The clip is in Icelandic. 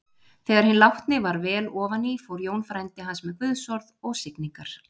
Þegar hinn látni var vel ofan í fór Jón frændi hans með guðsorð og signingar.